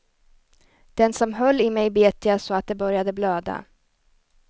Den som höll i mig bet jag så att det började blöda.